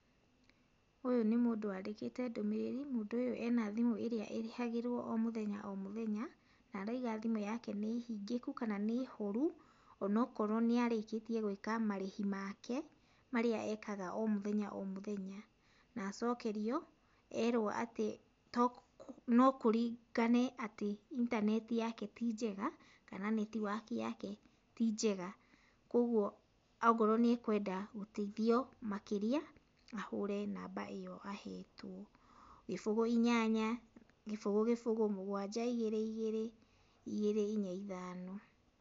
Ũyũ nĩ mũndũ wandĩkĩte ndũmĩrĩri, mũndũ ũyũ ena thimũ ĩrĩa ĩrĩhagĩrũo o mũthenya o mũthenya, na arauga thimũ yake nĩhingĩku kana nĩ horu, onokorwo nĩarĩkĩtie gwĩka marĩhi make, marĩa ekaga o mũthenya o mũthenya. Na acokerio, erwo atĩ, no kũringane atĩ, intaneti yake ti njega, kana netiwaki yake ti njega. Kuoguo akorwo nĩekwenda gũteithio makĩria, ahũre namba ĩyo ahetũo. Gĩbũgũ inyanya gĩbũgũ gĩbũgũ mũgwanja igĩrĩ igĩrĩ igĩrĩ inya ithano